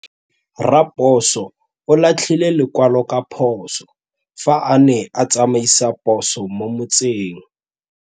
Raposo o latlhie lekwalô ka phosô fa a ne a tsamaisa poso mo motseng.